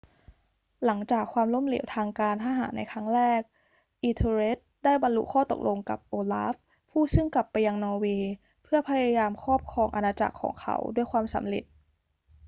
หลังจากความล้มเหลวทางการทหารในครั้งแรก ethelred ได้บรรลุข้อตกลงกับ olaf ผู้ซึ่งกลับไปยังนอร์เวย์เพื่อพยายามครอบครองอาณาจักรของเขาด้วยความสำเร็จ